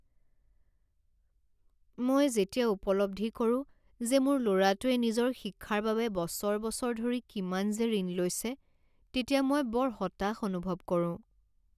মই যেতিয়া উপলব্ধি কৰোঁ যে মোৰ ল'ৰাটোৱে নিজৰ শিক্ষাৰ বাবে বছৰ বছৰ ধৰি কিমান যে ঋণ লৈছে তেতিয়া মই বৰ হতাশ অনুভৱ কৰোঁ।